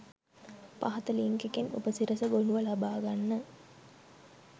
පහත ලින්ක් එකෙන් උපසිරස ගොනුව ලබා ගන්න